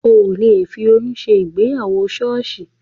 Ò le fi oyún ṣe ìgbéyàwó ṣọ́ọ̀ṣì